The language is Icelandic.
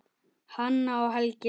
Hanna og Helgi Seljan.